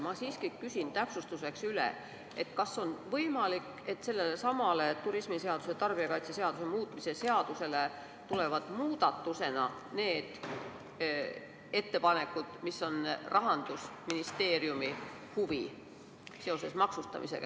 Ma siiski küsin täpsustuseks üle: kas on võimalik, et sellesama turismiseaduse ja tarbijakaitseseaduse muutmise seaduse juurde tulevad muudatusena ka need ettepanekud, mis Rahandusministeeriumile pakuvad huvi seoses maksustamisega?